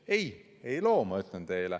Ei, ei loo, ütlen ma teile.